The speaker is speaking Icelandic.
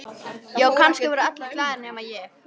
Já, kannski voru allir glaðir nema ég.